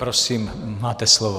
Prosím, máte slovo.